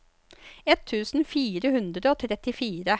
ett tusen fire hundre og trettifire